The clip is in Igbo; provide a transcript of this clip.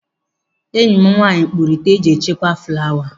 Enyi m nwaanyị kpuru ite eji echekwa flawa.